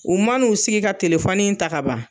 U man'u sigi ka telefɔni in ta kaban